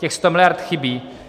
Těch sto miliard chybí.